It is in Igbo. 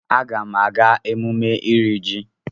Agam aga emume iri ji.